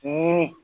Ɲini